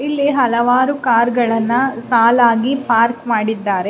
ಇಲ್ಲಿ ಹಲವಾರು ಕಾರ್ ಗಳನ್ನೂ ಸಾಲಾಗಿ ಪಾರ್ಕ್ ಮಾಡಿದ್ದಾರೆ .